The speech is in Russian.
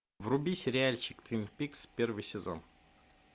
вруби сериальчик твин пикс первый сезон